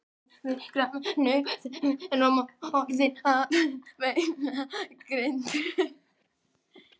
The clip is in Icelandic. Biskupssveinninn sagði markverð tíðindi sem orðið höfðu á Íslandi.